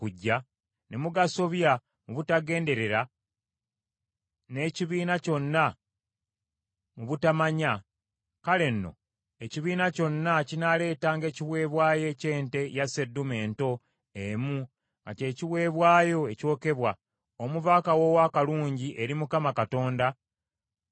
ne mugasobya mu butagenderera n’ekibiina kyonna mu butamanya, kale nno ekibiina kyonna kinaaleetanga ekiweebwayo eky’ente ya sseddume ento emu nga kye kiweebwayo ekyokebwa, omuva akawoowo akalungi eri Mukama Katonda, nga kuliko n’ekiweebwayo ky’emmere y’empeke n’ekyokunywa ng’etteeka bwe liragira, n’ekiweebwayo eky’embuzi ennume emu olw’ekibi.